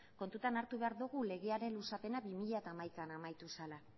kontutan hartu behar dugu legearen luzapena bi mila hamaikan amaitu zela